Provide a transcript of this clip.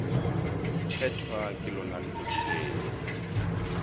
phethwa ka lona letšatši leo